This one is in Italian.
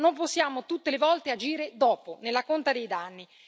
Non possiamo tutte le volte agire dopo nella conta dei danni.